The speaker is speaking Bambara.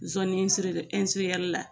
la